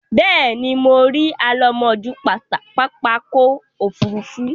Bẹ́ẹ̀ ni, mo rí alámòójú pápákọ̀-òfurufú.